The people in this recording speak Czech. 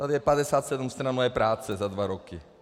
Tady je 57 stran mé práce za dva roky.